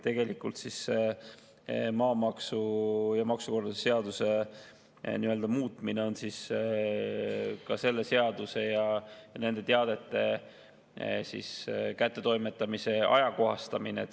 Nii et maamaksuseaduse ja maksukorralduse seaduse muutmine on nende seaduste ja nende teadete kättetoimetamise ajakohastamine.